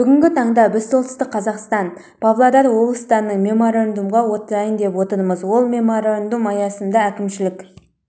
бүгінгі таңда біз солтүстік қазақстан павлодар облыстарының меморандумға отырайын деп отырмыз ол меморандум аясында әкімшілік